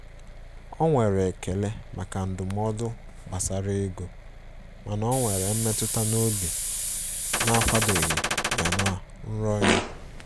O nwere ekele maka ndụmọdụ gbasara ego, mana ọ nwere mmetụta n'obi na-akwadoghi ya na nrọ ya.